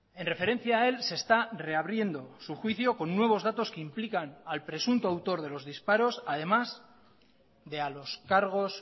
en referencia a él se está reabriendo su juicio con nuevos datos que implican al presunto autor de los disparos además de a los cargos